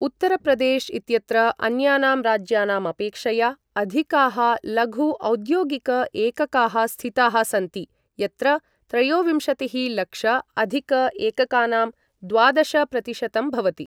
उत्तर्प्रदेश् इत्यत्र अन्यानां राज्यानाम् अपेक्षया अधिकाः लघु औद्योगिक एककाः स्थिताः सन्ति, यत्र त्रयोविंशतिः लक्ष अधिक एककानां द्वादश प्रतिशतं भवति।